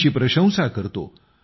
त्यांची प्रशंसा करतो